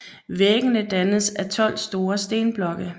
Væggene dannes af 12 store stenblokke